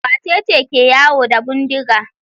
Wace ce ke yawo da bindiga?